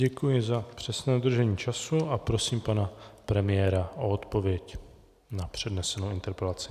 Děkuji za přesné dodržení času a prosím pana premiéra o odpověď na přednesenou interpelaci.